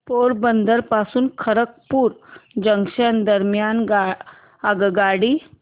पोरबंदर पासून खरगपूर जंक्शन दरम्यान आगगाडी